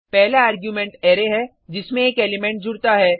पहला argument array है जिसमें एक एलिमेंट जुडता है